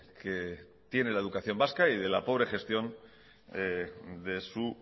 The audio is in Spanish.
que tiene la educación vasca y la pobre gestión